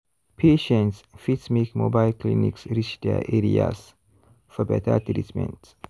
patients fit make mobile clinics reach their areas for better treatment.